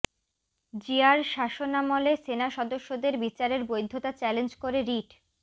জিয়ার শাসনামলে সেনা সদস্যদের বিচারের বৈধতা চ্যালেঞ্জ করে রিট